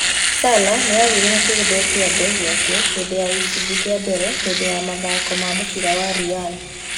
Salah nĩ aagũire na akĩguthwo kĩande gĩake hĩndĩ ya gĩcunjĩ kĩa mbere hĩndĩ ya mathako ma mũbira wa Real.